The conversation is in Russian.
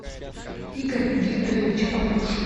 игорь викторович папушин